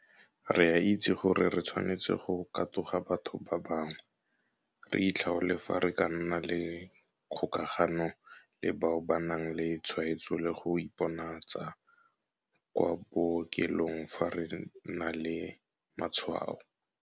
Re a itse gore re tshwanetse go katoga batho ba bangwe, re itlhaole fa re ka nna le kgokagano le bao ba nang le tshwaetso le go iponatsa kwa bookelong fa re na le matshwao.